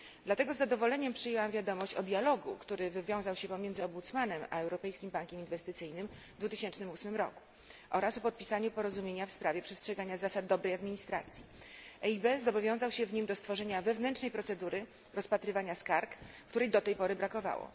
Dlatego z zadowoleniem przyjęłam wiadomość o dialogu, który wywiązał się pomiędzy rzecznikiem a Europejskim Bankiem Inwestycyjnym w 2008 roku oraz o popisaniu porozumienia w sprawie przestrzegania zasad dobrej administracji. EIB zobowiązał się w nim do stworzenia wewnętrznej procedury rozpatrywania skarg, której do tej pory brakowało.